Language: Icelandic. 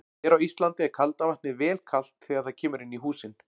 Hér á Íslandi er kalda vatnið vel kalt þegar það kemur inn í húsin.